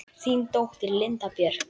Þín dóttir, Linda Björk.